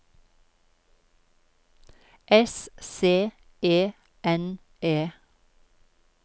S C E N E